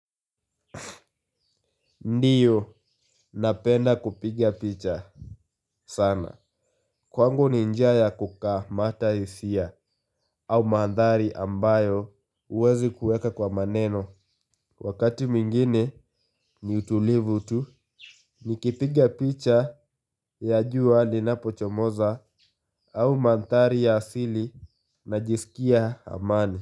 Ndio napenda kupigia picha sana kwangu ni njia ya kukamata hisia au mandhari ambayo huwezi kuweka kwa maneno. Wakati mwingine ni utulivu tu nikipigia picha ya jua linapochomoza au mandhari ya asili najisikia amani.